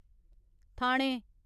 थाने